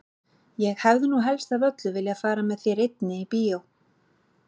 Ég hefði nú helst af öllu viljað fara með þér einni í bíó!